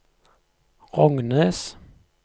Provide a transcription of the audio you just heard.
Rognes